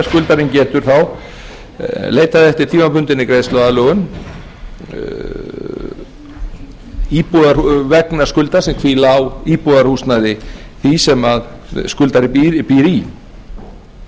skuldarinn getur þá leitað eftir tímabundinni greiðsluaðlögun vegna skulda sem hvíla á íbúðarhúsnæði því sem skuldari býr í skuldbindingarnar breytast þá